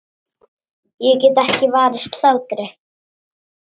Ég get ekki varist hlátri.